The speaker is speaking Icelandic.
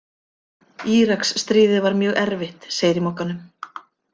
Íraksstríðið var mjög erfitt Segir í Mogganum.